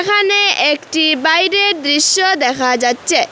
এহানে একটি বাইরের দৃশ্য দেখা যাচ্চে।